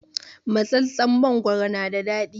Matsatstsen mangoro na da daɗi